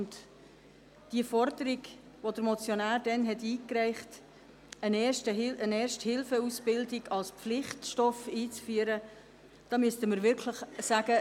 Zur Forderung, die der Motionär damals eingereicht hat, eine Erste-Hilfe-Ausbildung als Pflichtstoff einzuführen, müssen wir wirklich sagen: